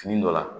Fini dɔ la